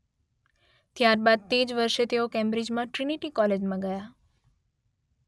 ત્યારબાદ તે જ વર્ષે તેઓ કેમ્બ્રિજમાં ટ્રિનિટી કૉલેજમાં ગયા